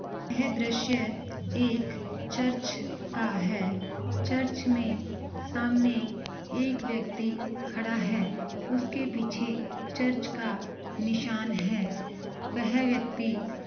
यह दृश एक चर्च का है चर्च मै सामने एक व्यक्ति खडा है उसके पीचे चर्च का निशाण है वेह व्यक्ति--